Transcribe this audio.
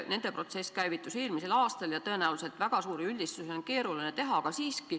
Nende protsess küll käivitus eelmisel aastal ja tõenäoliselt väga suuri üldistusi on veel keeruline teha, aga siiski.